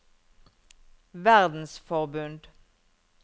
verdensforbund